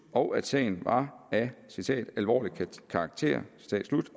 og at sagen var af alvorlig karakter